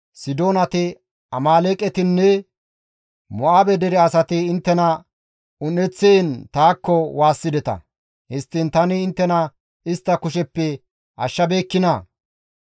Sidoonati, Amaaleeqetinne Ma7oone dere asati inttena un7eththiin taakko waassideta; histtiin tani inttena istta kusheppe ashshabeekkinaa?